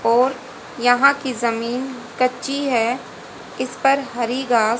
और यहां की जमीन कच्ची है इस पर हरि घास --